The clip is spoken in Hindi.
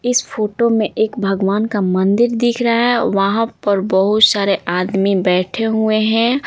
इस फोटो में एक भगवान का मंदिर दिख रहा है वहाँ पर बहुत सारे आदमी बैठे हुए हैं।